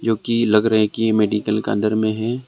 जोकि लग रहे है कि ये मेडिकल का अंदर में है।